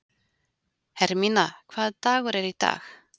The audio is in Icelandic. Hermína, hvaða dagur er í dag?